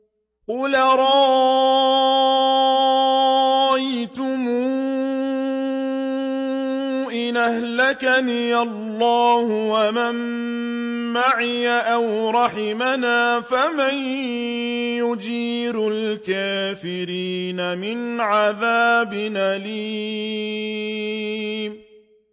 قُلْ أَرَأَيْتُمْ إِنْ أَهْلَكَنِيَ اللَّهُ وَمَن مَّعِيَ أَوْ رَحِمَنَا فَمَن يُجِيرُ الْكَافِرِينَ مِنْ عَذَابٍ أَلِيمٍ